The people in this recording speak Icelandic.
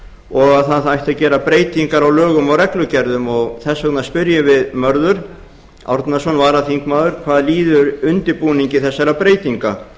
og að það ætti að gera breytingar á lögum og reglugerðum þess vegna spyrjum við mörður árnason varaþingmaður hvað líður undirbúningi þessara breytinga